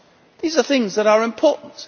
These are things that are important.